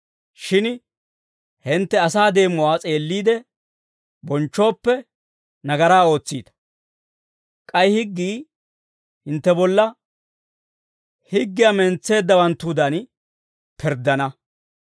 Shin hintte asaa deemuwaa s'eelliide bonchchooppe, nagaraa ootsiita; k'ay higgii hintte bolla, higgiyaa mentseeddawanttudan pirddana.